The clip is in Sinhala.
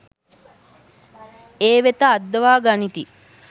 ඒ වෙත අද්දවා ගනිති.